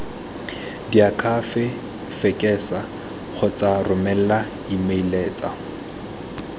diakhaefe fekesa kgotsa romela emeilatsa